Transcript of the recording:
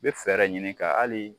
I bɛ fɛɛrɛ ɲini ka hali